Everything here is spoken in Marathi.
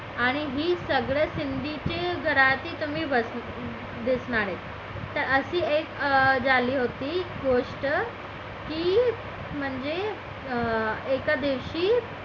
आणि हे सगळं सिंधी चे घरात दिसणार आहे तर असे एक झाली होती गोष्ट की म्हणजे की एका दिवशी